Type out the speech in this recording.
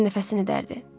Dorian nəfəsini dərdi.